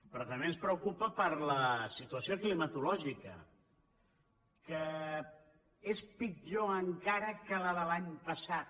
però també ens preocupa per la situació climatològica que és pitjor encara que la de l’any passat